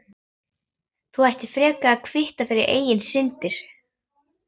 Þú ættir frekar að kvitta fyrir eigin syndir.